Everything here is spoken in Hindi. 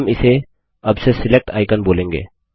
हम इसे अब से सिलेक्ट आइकन बोलेंगे